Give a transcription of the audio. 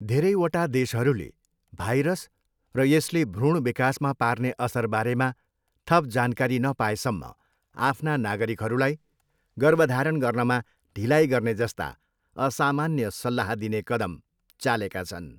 धेरैवटा देशहरूले भाइरस र यसले भ्रुण विकासमा पार्ने असरबारेमा थप जानकारी नपाएसम्म आफ्ना नागरिकहरूलाई गर्भधारण गर्नमा ढिलाइ गर्ने जस्ता असामान्य सल्लाह दिने कदम चालेका छन्।